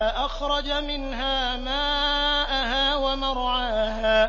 أَخْرَجَ مِنْهَا مَاءَهَا وَمَرْعَاهَا